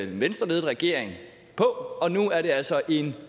den venstreledede regering og nu er det altså en